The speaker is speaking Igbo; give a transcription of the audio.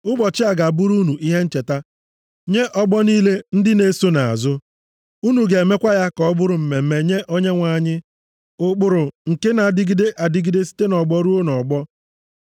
“Ụbọchị a ga-abụrụ unu ihe ncheta nye ọgbọ niile ndị na-eso nʼazụ. Unu ga-emekwa ya ka ọ bụrụ mmemme nye Onyenwe anyị. Ụkpụrụ nke na-adịgide adịgide site nʼọgbọ ruo nʼọgbọ.